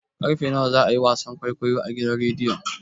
Karfe nawa za a yi wasan kwaikwayon a gidan rediyon?